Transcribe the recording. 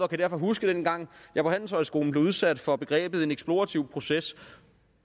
kan huske dengang jeg på handelshøjskolen blev udsat for begrebet en eksplorativ proces